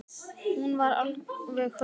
Hún var alveg hörð á því.